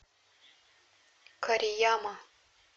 корияма